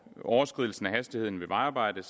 overskridelsen af hastigheden ved vejarbejder